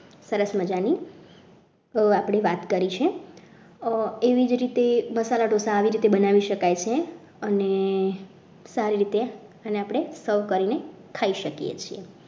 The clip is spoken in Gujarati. સરસ મજાની આપણી વાત કરી છે તો એવી જ રીતે મસાલા ઢોસા આવી રીતે બનાવી શકાય છે અને સારી રીતે આને સર્વ કરીને ખાઈ શકીએ છીએ.